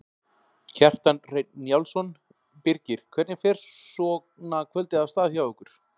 Kjartan Hreinn Njálsson: Birgir hvernig fer svona kvöldið af stað hjá ykkur?